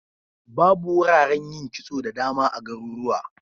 Babu wuraren yin kitso da dama a garurwa.